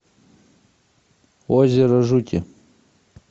озеро жути